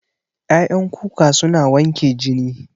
Ƴaƴan kuka suna wanke jini